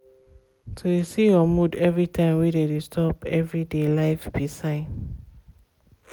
to de see your mood everytime wey de disturb every day life be sign.\\